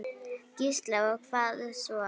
Gísli: Og hvað svo?